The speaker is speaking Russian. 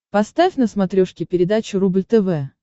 поставь на смотрешке передачу рубль тв